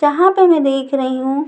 यहां पे मैं देख रही हूं--